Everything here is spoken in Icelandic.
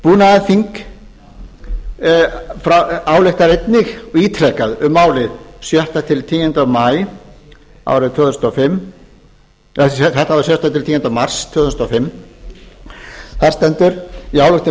búnaðarþing ályktar einnig ítrekað um málið sjötta til tíunda maí árið tvö þúsund og fimm þar stendur í ályktun